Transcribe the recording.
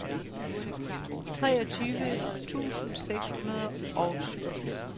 treogtyve tusind seks hundrede og syvogfirs